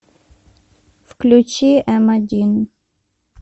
включи эм один